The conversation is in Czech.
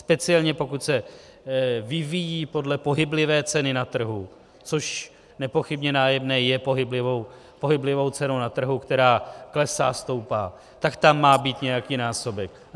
Speciálně pokud se vyvíjí podle pohyblivé ceny na trhu, což nepochybně nájemné je pohyblivou cenou na trhu, která klesá, stoupá, tak tam má být nějaký násobek.